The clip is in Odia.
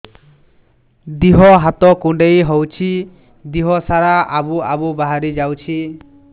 ଦିହ ହାତ କୁଣ୍ଡେଇ ହଉଛି ଦିହ ସାରା ଆବୁ ଆବୁ ବାହାରି ଯାଉଛି